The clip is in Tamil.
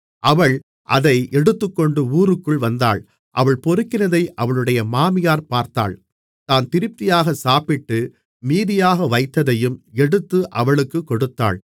அவள் அதை எடுத்துக்கொண்டு ஊருக்குள் வந்தாள் அவள் பொறுக்கினதை அவளுடைய மாமியார் பார்த்தாள் தான் திருப்தியாகச் சாப்பிட்டு மீதியாக வைத்ததையும் எடுத்து அவளுக்குக் கொடுத்தாள்